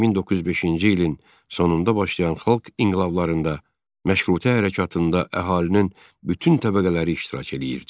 1905-ci ilin sonunda başlayan xalq inqilablarında məşrutə hərəkatında əhalinin bütün təbəqələri iştirak eləyirdi.